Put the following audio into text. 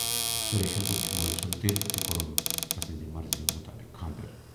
سُریشن روچھ مالۍ سُند دِل تہٕ کورُن تسٕنزِ مرضی مُطٲبِق خاندر۔